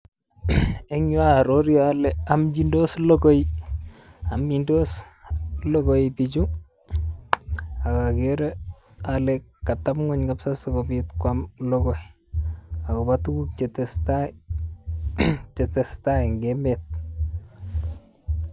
En yu oororu ole omchindos logoi omchindos logoi pichu ok okere ole kateb ng'weny sikwam logoi agobo tuguk chetesetai chetestai eng emet.